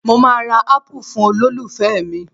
Mo máa ra Ápù fún olólùfẹ́ mi